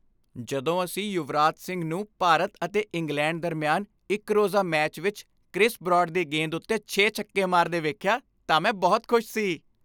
ਜਦੋਂ ਅਸੀਂ ਯੁਵਰਾਜ ਸਿੰਘ ਨੂੰ ਭਾਰਤ ਅਤੇ ਇੰਗਲੈਂਡ ਦਰਮਿਆਨ ਇੱਕ ਰੋਜ਼ਾ ਮੈਚ ਵਿੱਚ ਕ੍ਰਿਸ ਬਰਾਡ ਦੀ ਗੇਂਦ ਉੱਤੇ ਛੇ ਛੱਕੇ ਮਾਰਦੇ ਵੇਖਿਆ ਤਾਂ ਮੈਂ ਬਹੁਤ ਖੁਸ਼ ਸੀ।